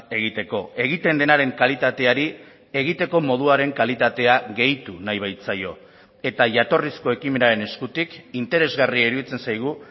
egiteko egiten denaren kalitateari egiteko moduaren kalitatea gehitu nahi baitzaio eta jatorrizko ekimenaren eskutik interesgarria iruditzen zaigu